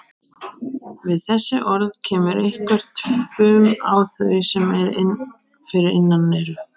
Við þessi orð kemur eitthvert fum á þau sem fyrir innan eru.